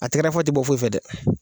A tɛkɛrɛfɔ te bɔ foyi fɛ dɛ.